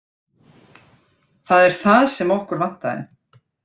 Það er það sem okkur vantaði.